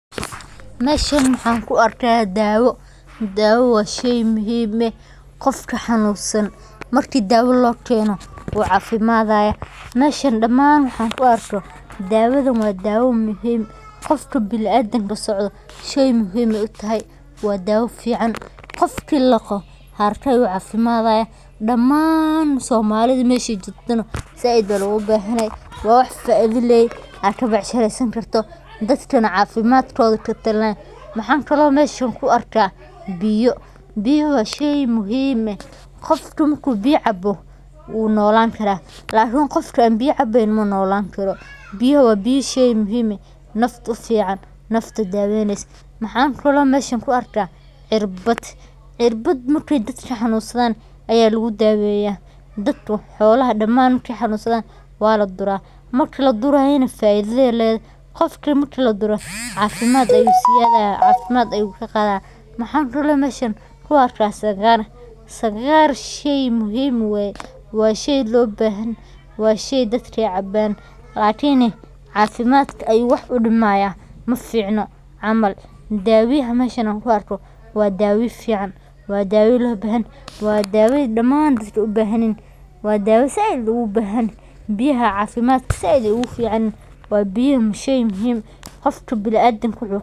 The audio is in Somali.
Meshan maxaan ku arka daawo daawo waa shay muhiim eh qofki xanunsan marki daawo lookeno wuu caafimaadaya meshan damaan waxan ku arko daawadan waa daawo muhiim qofka binadamka socda shay muhiim ay u tahay waa daawo fican qofki laqo haraka ayu caafimadaya damaan soomalida meshay jogtaba zaiid aya loogu bahanahay waa wax faiido leh aa ka becsharaysan karto dadkana caafimadkooda katalinaya. Maxaan kalo meshan ku arka biyo biyaha waa shay muhiim eh qofku marku biyo cabo wuu noolan kara lakin qofka aan biya cabaynin manoolan karo. Biyaha waa biya shay muhiim ah nafta u fican nafta daawaynaysa maxaan kalo meshan ku arka cirbad. Cirbad markay dadka xanunsadan aya lagu daweeya dadka xoolaha damaan kaxanunxadan waa la dura marki ladurayana faido ayay leede qofka marki ladura caafimad aya u ziyaadaya caafimad ayu kaqada. Maxaan kalo meshan ku arka sagar sagar shay muhiim weye waa shay loo bahanyahay wa shay dadka ay cabaan lakini caafimadka ayu wax u dhimaaya maficno camal daawaha meshan aan ku arka waa daawo fican waa daawo loo bahanyahy waa daawo damaan dadka ay u bahanyihin waa daawo zaiid loogu bahanyahy biyaha caafimadka zaiid ayay ogu ficanyihiin waa biya shay muhiim qofka biniadamka